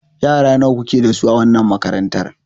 Yara nawa kuke da su a wannan makarantar?